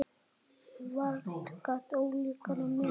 Vart gat ólíkari menn.